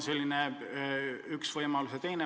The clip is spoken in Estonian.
See on üks võimalus.